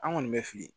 An kɔni bɛ fili